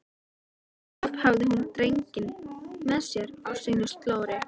Alltaf hafði hún drenginn með sér á sínu slóri.